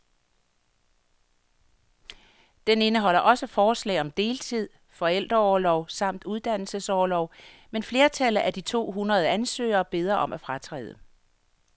Den indeholder også forslag om deltid, forældreorlov samt uddannelsesorlov, men flertallet af de to hundrede ansøgere beder om at fratræde.